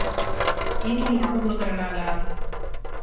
இன்னிக்கு முட்ட குடுக்குற நாளா